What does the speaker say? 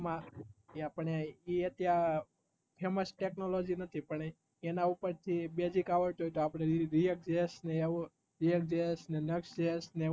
એ આપડે એ ત્યાં famous technology નથી પણ એના ઉપેરથી basic આવડ તું હોય તો અપડે એવું બધું સિખિયે